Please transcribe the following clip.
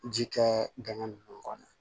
Ji kɛ dingɛ ninnu kɔnɔ